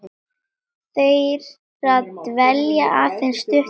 þeirra dvelji aðeins stutt þar.